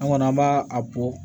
An kɔni an b'a a bɔ